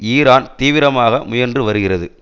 Iran தீவிரமாக முயன்று வருகிறது